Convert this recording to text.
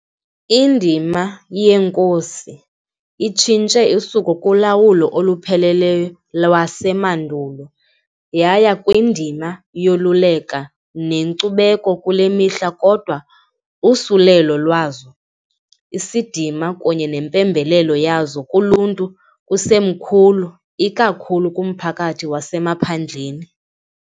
Indima yeenkosi itshintshe usuku kulawulo olupheleleyo lwasemandulo yaya kwindima yoluleka nenkcubeko kule mihla kodwa usulelo lwazo, isidima kunye nempembelelo yazo kuluntu kusemkhulu ikakhulu kumphakathi wasemaphandleni.